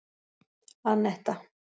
Anetta